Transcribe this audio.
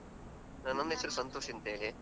ನನ್ ಹೆಸರು ಸಂತೋಷ್ ಅಂತ್ಹೇಳಿ.